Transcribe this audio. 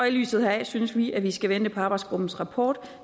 i lyset heraf synes vi at vi skal vente på arbejdsgruppens rapport